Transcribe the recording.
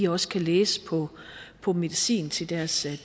også kan læse på på medicin til deres